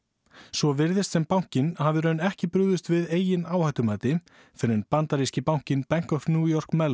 svo virðist sem bankinn hafi í raun ekki brugðist við eigin áhættumati fyrr en bandaríski bankinn Bank of New York